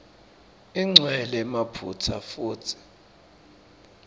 igcwele emaphutsa futsi